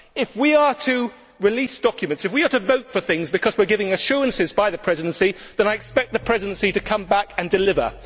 If we are to release documents, if we are to vote for things because we are given assurances by the Presidency, then I expect the Presidency to come back and deliver.